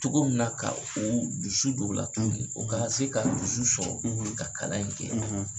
Cogo min na ka o dusu don u la tugun u ka se ka dusu sɔrɔ ka kala in kɛ